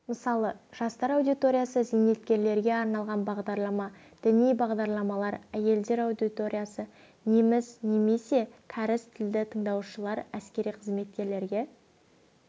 мысалы жастар аудиториясы зейнеткерлерге арналған бағдарлама діни бағдарламалар әйелдер аудиториясы неміс немесе кәріс тілді тыңдаушылар әскери қызметкерлерге